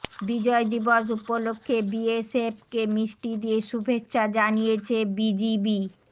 বিজয় দিবস উপলক্ষে বিএসএফকে মিষ্টি দিয়ে শুভেচ্ছা জানিয়েছে বিজিবি